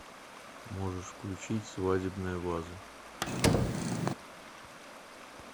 можешь включить свадебная ваза